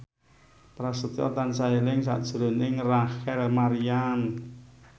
Prasetyo tansah eling sakjroning Rachel Maryam